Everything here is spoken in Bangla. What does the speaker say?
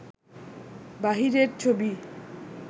বাহিরের ছবি